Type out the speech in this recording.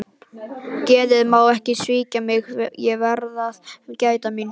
Geðið má ekki svíkja mig, ég verð að gæta mín.